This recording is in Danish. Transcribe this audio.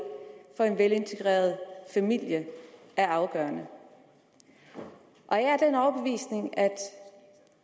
få en velintegreret familie er afgørende jeg er af den overbevisning at